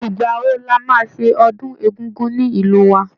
Ìgbà wo la máa ṣe ọdún Egúngún ní ìlú wa?